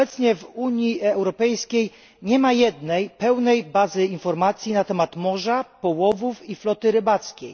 Obecnie w Unii Europejskiej nie ma jednej pełnej bazy informacji na temat morza, połowów i floty rybackiej.